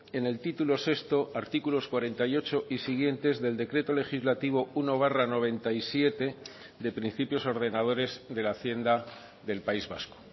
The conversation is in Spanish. en el título sexto artículos cuarenta y ocho y siguientes del decreto legislativo uno barra noventa y siete de principios ordenadores de la hacienda del país vasco